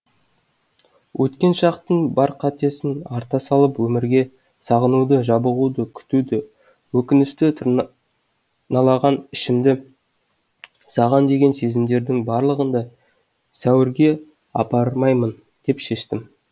өткен шақтың бар қатесін арта салып өмірге сағынуды жабығуды күтуді өкінішті тырналаған ішімді саған деген сезімдердің барлығын да сәуірге апармаймын деп шештім